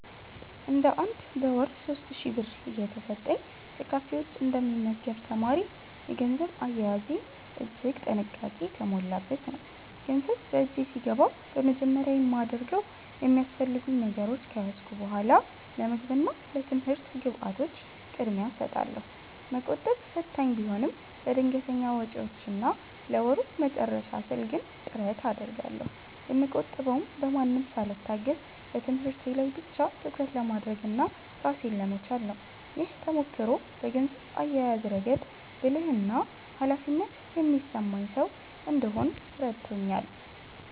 እንደ አንድ በወር 3,000 ብር እየተሰጠኝ ከካፌ ውጭ እንደ ሚመገብ ተማሪ፤ የገንዘብ አያያዜ እጅግ ጥንቃቄ የተሞላበት ነው። ገንዘብ በእጄ ሲገባ በመጀመሪያ የማደርገው የሚያስፈልጉኝ ነገሮች ከያዝኩ በኃላ ለምግብ እና ለትምህርት ግብዓቶች ቅድሚያ እሰጣለሁ። መቆጠብ ፈታኝ ቢሆንም፤ ለድንገተኛ ወጪዎችና ለወሩ መጨረሻ ስል ግን ጥረት አደርጋለሁ። የምቆጥበውም በማንም ሳልታገዝ በትምህርቴ ላይ ብቻ ትኩረት ለማድረግና ራሴን ለመቻል ነው። ይህ ተሞክሮ በገንዘብ አያያዝ ረገድ ብልህና ኃላፊነት የሚሰማኝ ሰው እንድሆን ረድቶኛል።